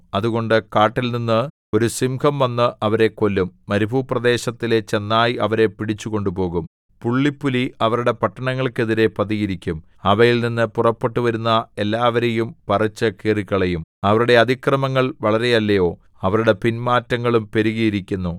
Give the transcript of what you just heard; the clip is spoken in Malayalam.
അതുകൊണ്ട് കാട്ടിൽനിന്ന് ഒരു സിംഹം വന്ന് അവരെ കൊല്ലും മരുപ്രദേശത്തിലെ ചെന്നായ് അവരെ പിടിച്ചു കൊണ്ടുപോകും പുള്ളിപ്പുലി അവരുടെ പട്ടണങ്ങൾക്കെതിരെ പതിയിരിക്കും അവയിൽ നിന്ന് പുറപ്പെട്ടുവരുന്ന എല്ലാവരെയും പറിച്ചു കീറിക്കളയും അവരുടെ അതിക്രമങ്ങൾ വളരെയല്ലയോ അവരുടെ പിൻമാറ്റങ്ങളും പെരുകിയിരിക്കുന്നു